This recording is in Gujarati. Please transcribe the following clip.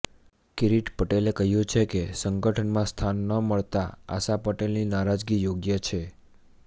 કિરીટ પટેલે કહ્યું છે કે સંગઠનમાં સ્થાન ન મળતા આશા પટેલની નારાજગી યોગ્ય છે